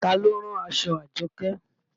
Taa ló rán aṣọ Àjọkẹ́